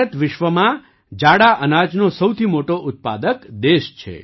ભારત વિશ્વમાં જાડા અનાજનો સૌથી મોટો ઉત્પાદક દેશ છે